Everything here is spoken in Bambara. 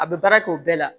A bɛ baara kɛ o bɛɛ la